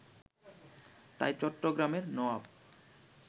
তাই চট্টগ্রামের নওয়াব